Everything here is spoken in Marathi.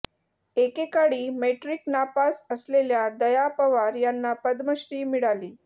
एकेकाळी मॅट्रिक नापास असलेल्या दया पवार यांना पद्मश्री मिळाली